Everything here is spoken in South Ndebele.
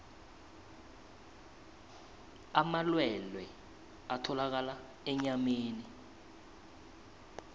amalwelwe atholakala enyameni